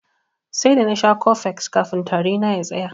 Sai da nasha cofex kafin tari na ya tsaya.